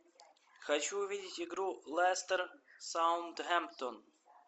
хочу увидеть игру лестер саутгемптон